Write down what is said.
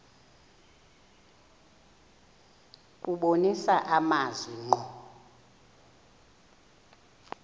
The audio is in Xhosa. kubonisa amazwi ngqo